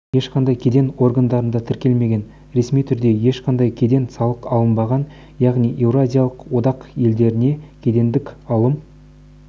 ешқандай кеден органдарында тіркелмеген ресми түрде ешқандай кедендік салық алынбаған яғни еуразиялық одақ елдеріне кедендік алым